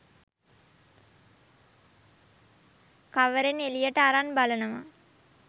කවරෙන් එළියට අරන් බලනව